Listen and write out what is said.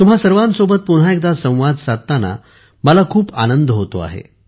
तुम्हा सर्वांसोबत पुन्हा एकदा संवाद साधताना मला खूप आनंद होतो आहे